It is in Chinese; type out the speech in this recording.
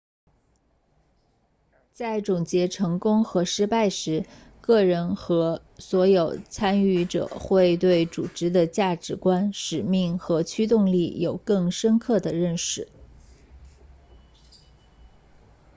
在总结成功和失败时个人和所有参与者会对组织的价值观使命和驱动力有更深刻的认识